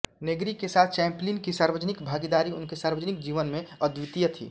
Negri के साथ Chaplin की सार्वजनिक भागीदारी उनके सार्वजनिक जीवन में अद्वितीय थी